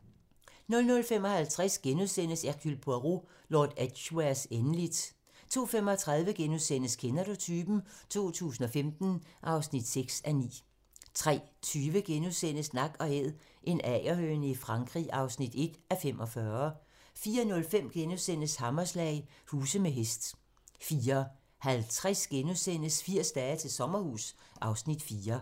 00:55: Hercule Poirot: Lord Edgwares endeligt * 02:35: Kender du typen? 2015 (6:9)* 03:20: Nak & Æd - en agerhøne i Frankrig (1:45)* 04:05: Hammerslag - huse med hest * 04:50: 80 dage til sommerhus (Afs. 4)*